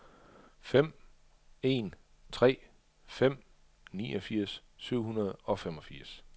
fem en tre fem niogfirs syv hundrede og femogfirs